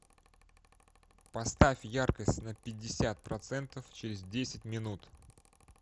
поставь яркость на пятьдесят процентов через десять минут